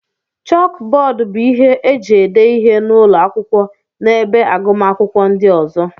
Chókbódú bụ ihe e ji ede ihe n'ụlọ akwụkwọ na ebe agụmakwụkwọ ndị ọzọ